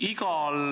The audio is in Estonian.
Aitäh!